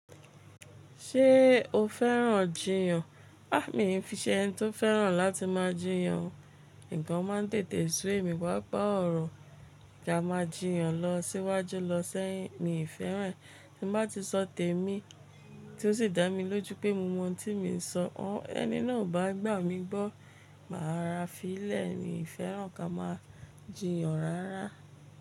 Ṣé o fẹ́ràn jiyàn? Há, mi ò fi ṣe ẹni tó fẹ́ràn láti máa jiyàn o. Ǹkan máa ń tètè sú emi papa ọ̀rọ̀ kí a máa jiyàn lọ síwájú lọ́sẹ̀ yín, mi ò fẹ́ràn. Ti n bá ti sọ tèmi tí ó sì dá mi lójú pé mo mọ ohun tí mò ń sọ, ọ̀ ẹni náà ò bá gbà mí gbọ́, màá rora fí í lẹ̀. Mi ò fẹ́ràn kí a máa jiyàn rárá.